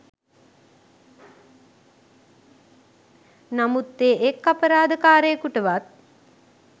නමුත් ඒ එක් අපරාධකාරයකුටවත්